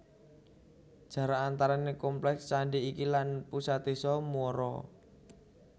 Jarak antarané kompleks candi iki lan pusat désa Muara